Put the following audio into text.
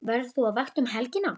Verður þú á vakt um helgina?